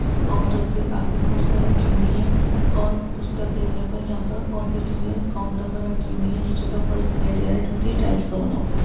Counter के आगे कुर्सियाँ रखी हुई है और पुस्तक गिरने पर पर यहाँ और भी चीजें है काउंटर पर रखी हुई है नीचे का का फर्श दिखाई दे रहा है जोकि टाइल्स का बना हुआ हैं।